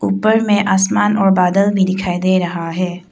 ऊपर में आसमान और बादल भी दिखाई दे रहा है।